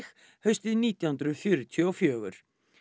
haustið nítján hundruð fjörutíu og fjögur